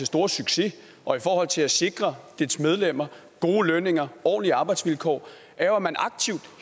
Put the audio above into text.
store succes og i forhold til at sikre dens medlemmer gode lønninger ordentlige arbejdsvilkår er jo at man